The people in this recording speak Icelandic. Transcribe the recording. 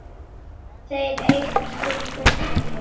Þeir eiga stutt eftir heim.